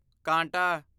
ਕਾਂਟਾ